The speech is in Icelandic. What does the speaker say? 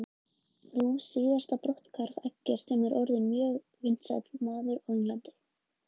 Í fyrsta lagi hefur gerð misgengisins sem veldur skjálftanum áhrif.